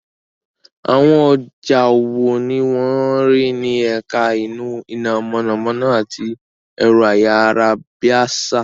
Àwọn ọjà wo ni wọ́n rí ní ẹ̀ka iná mọ̀nàmọ́ná àti ẹ̀rọ-ayárabíàsá?